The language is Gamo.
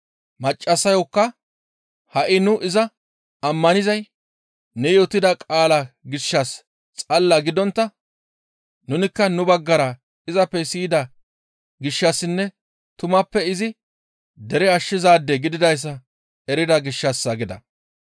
Maccassayokka, «Ha7i nu iza ammanizay ne yootida qaalaa gishshas xalla gidontta nunikka nu baggara izappe siyida gishshassinne tumappe izi dere ashshizaade gididayssa erida gishshassa» gida.